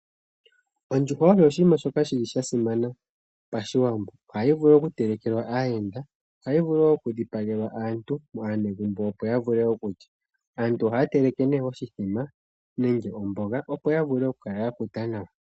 Ondjuhwa osho oshinima shoka shi li sha simana pashiwambo. Ohayi vulu oku telekelwa aayenda, ohayi vulu wo oku dhipagelwa aantu, aanegumbo opo ya vule okulya. Aantu oha ya teleke nee oshithima nenge omboga opo ya vule oku kala ya kuta nawa.